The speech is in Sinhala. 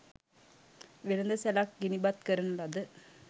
වෙළෙඳ සැලක් ගිනිබත් කරන ලද